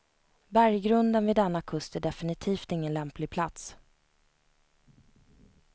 Berggrunden vid denna kust är definitivt ingen lämplig plats.